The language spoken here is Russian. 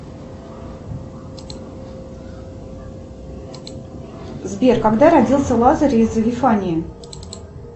сбер когда родился лазарь из вифании